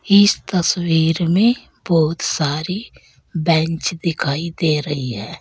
इस तस्वीर में बहुत सारी बेंच दिखाई दे रही है।